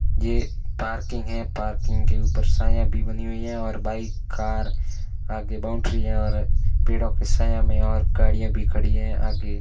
ये पार्किंग है पार्किंग के ऊपर छाया भी बनी हुई है और बाइक कार आगे बाउंड्री है और पेड़ों की छाया में और गाड़ियां भी खड़ी है आगे --